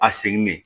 A seginnen